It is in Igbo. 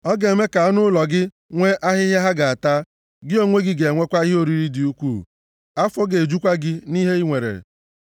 Ọ ga-eme ka anụ ụlọ gị nwee ahịhịa ha ga-ata, gị onwe gị ga-enwekwa ihe oriri dị ukwuu. Afọ ga-ejukwa gị nʼihe i nwere.